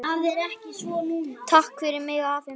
Takk fyrir mig, afi minn.